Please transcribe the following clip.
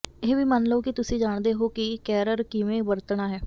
ਇਹ ਵੀ ਮੰਨ ਲਓ ਕਿ ਤੁਸੀਂ ਜਾਣਦੇ ਹੋ ਕਿ ਕੈਰਰ ਕਿਵੇਂ ਵਰਤਣਾ ਹੈ